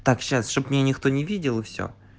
так сейчас чтобы никто не видел и все